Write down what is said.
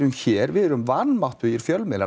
hér við erum vanmáttugir fjölmiðlar